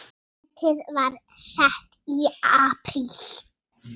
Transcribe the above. Metið var sett í apríl.